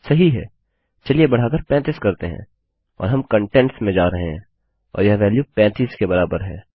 सही है चलिए बढ़ाकर 35 करते हैं और हम कंटेंट्स में जा रहे हैं और यह वेल्यू 35 के बराबर है